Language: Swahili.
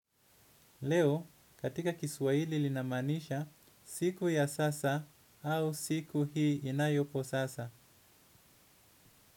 Leo katika kiswahili linamaanisha siku ya sasa au siku hii inayopo sasa.